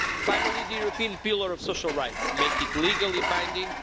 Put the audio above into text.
Finally, the European Pillar of Social Rights make it legally binding.